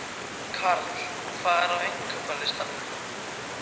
Karl, hvað er á innkaupalistanum mínum?